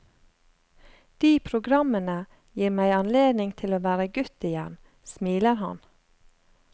De programmene gir meg anledning til å være gutt igjen, smiler han.